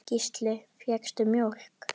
Gísli: Fékkstu mjólk?